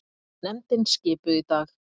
Nefndin skipuð í dag